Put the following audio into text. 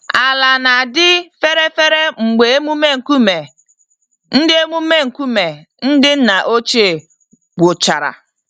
Ala na-adị fere-fere mgbe emume nkume ndị emume nkume ndị nna ochie gwụchara.